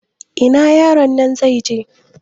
Ina yaron nan zai je?